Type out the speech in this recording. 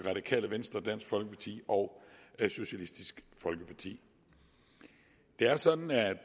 radikale venstre dansk folkeparti og socialistisk folkeparti det er sådan at